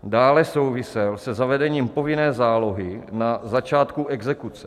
Dále souvisel se zavedením povinné zálohy na začátku exekuce.